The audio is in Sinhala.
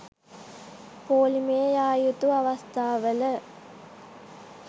පෝලිමේ යා යුතු අවස්ථාවල